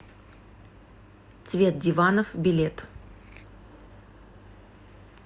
цвет диванов билет